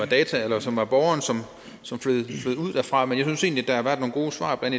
data som var borgerens som flød ud derfra men jeg synes egentlig der har været nogle gode svar blandt